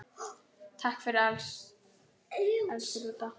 Takk fyrir allt, elsku Dúdda.